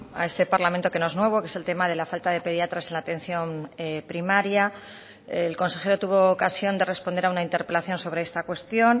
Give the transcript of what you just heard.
a este parlamento que no es nuevo que es el tema de la falta de pediatras en la atención primaria el consejero tuvo ocasión de responder a una interpelación sobre esta cuestión